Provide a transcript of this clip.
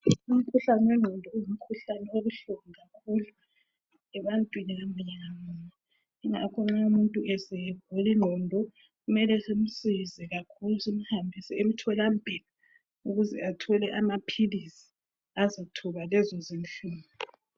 Umkhuhlane wengqondo ungumkhuhlane obuhlungu kakhulu ebantwini ngamunye ngamunye. Yingakho nxa umuntu esegulingqondo kumele simsize kakhulu simhambise emtholampilo ukuze athole amaphilizi azothoba lezo zinhlungu.